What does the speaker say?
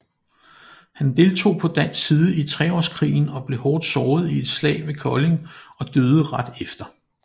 Han deltog på dansk side i Treårskrigen og blev hårdt såret i et slag ved Kolding og døde ret efter